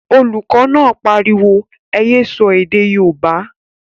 Olùkọ́ náà pariwo, ẹ yé sọ èdè yóòbá!